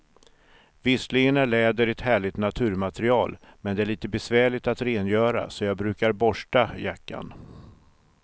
Visserligen är läder ett härligt naturmaterial, men det är lite besvärligt att rengöra, så jag brukar borsta jackan.